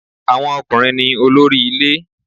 Àwọn ọkùnrin ní olórí ilé